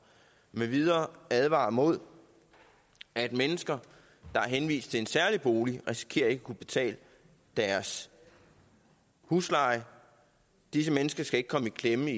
med videre advarer mod at mennesker der er henvist til en særlig bolig risikerer ikke at kunne betale deres husleje disse mennesker skal ikke komme i klemme